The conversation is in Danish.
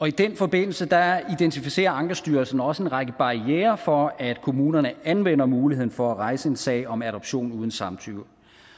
i den forbindelse identificerer ankestyrelsen også en række barrierer for at kommunerne anvender muligheden for at rejse en sag om adoption uden samtykke